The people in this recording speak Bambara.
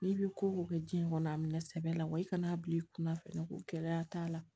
N'i bɛ ko kɛ jiɲɛ kɔnɔ a minɛ sɛbɛ la wa i kan'a bila i kunna fɛnɛ ko gɛlɛya t'a la